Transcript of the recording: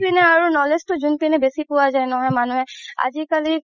আৰু knowledge তো জোন পিনে বেচি পোৱা যাই ন মানুহে আজিকালি